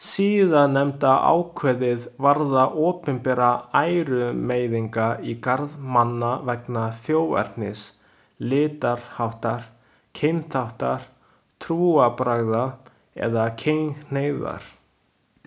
Síðarnefnda ákvæðið varðar opinberar ærumeiðingar í garð manna vegna þjóðernis, litarháttar, kynþáttar, trúarbragða eða kynhneigðar.